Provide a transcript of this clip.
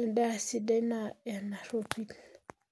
endaa siidai naa enarropil.